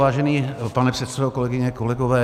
Vážený pane předsedo, kolegyně, kolegové.